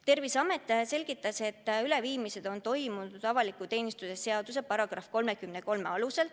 Terviseameti esindaja selgitas, et üleviimised on toimunud avaliku teenistuse seaduse § 33 alusel.